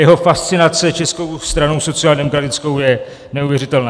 Jeho fascinace Českou stranou sociálně demokratickou je neuvěřitelná.